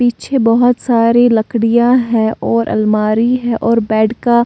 पीछे बहोत सारे लड़कियां है और अलमारी है और बेड का--